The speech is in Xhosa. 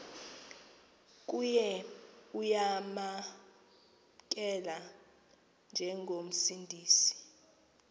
kuye uyamamkela njengomsindisi